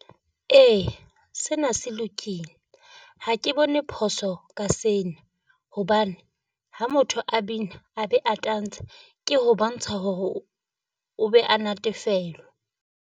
Ee sena se lokile. Ha ke bone phoso ka seno hobane ha motho a bina a be a tantsha ke ho bontsha hore o be a natefelwa.